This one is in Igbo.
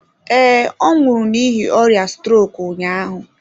Ee, ọ nwụrụ n'ihi ọrịa strok ụnyahụ.